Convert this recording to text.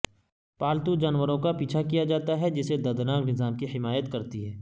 پالتو جانوروں کا پیچھا کیا جاتا ہے جسے دردناک نظام کی حمایت کرتی ہے